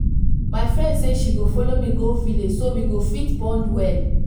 my friend say she go follow me go village so we go fit bond well